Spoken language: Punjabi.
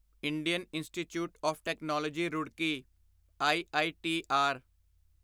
Indian institute of technology Roorkee EITR